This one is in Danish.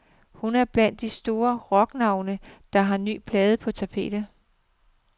Hun er blandt de store rocknavne, der har nye plader på tapetet.